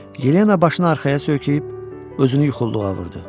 Yelena başını arxaya söykəyib, özünü yuxulduğa vurdu.